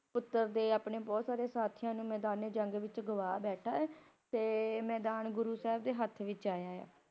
ਪੁੱਤਰ ਤੇ ਆਪਣੇ ਬਹੁਤ ਸਾਰੇ ਸਾਥੀਆਂ ਨੂੰ ਮੈਦਾਨ-ਏ-ਜੰਗ ਵਿੱਚ ਗਵਾ ਬੈਠਾ ਹੈ, ਤੇ ਮੈਦਾਨ ਗੁਰੂ ਸਾਹਿਬ ਦੇ ਹੱਥ ਵਿਚ ਆਯਾ ਆ।